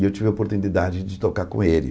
E eu tive a oportunidade de tocar com ele.